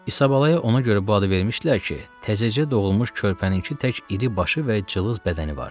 İsa Balaya ona görə bu adı vermişdilər ki, təzəcə doğulmuş körpənininki tək iri başı və cılız bədəni vardı.